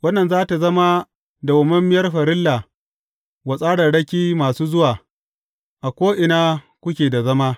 Wannan za tă zama dawwammamiyar farilla wa tsararraki masu zuwa, a ko’ina kuke da zama.